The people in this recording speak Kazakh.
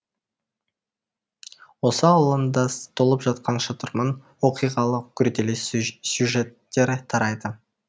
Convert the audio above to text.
осы алуандас толып жатқан шытырман оқиғалы күрделі сюжеттер тарайды